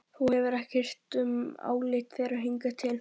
Þú hefur ekki hirt um álit þeirra hingað til.